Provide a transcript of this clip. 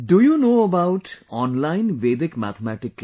Do you know about online Vedic Mathematics